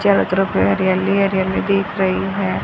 चारों में तरफ हरियाली हरियाली दिख रही है।